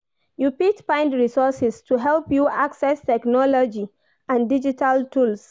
You fit find resources to help you access technology and digital tools.